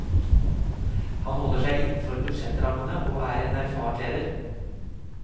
Han holder seg innenfor budsjettrammene og er en erfaren leder.